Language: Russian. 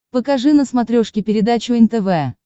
покажи на смотрешке передачу нтв